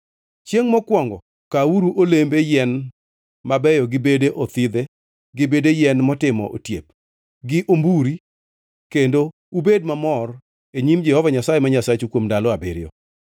Chiengʼ mokwongo kawuru olembe yien mabeyo gi bede othidhe, gi bede yien motimo otiep, gi omburi, kendo ubed mamor e nyim Jehova Nyasaye ma Nyasachu kuom ndalo abiriyo.